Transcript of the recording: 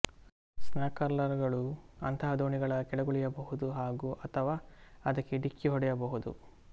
snorkeller ಗಳು ಅಂತಹ ದೋಣಿಗಳ ಕೆಳಗುಳಿಯಬಹುದು ಹಾಗು ಅಥವಾ ಅದಕ್ಕೆ ಡಿಕ್ಕಿ ಹೊಡೆಯಬಹುದು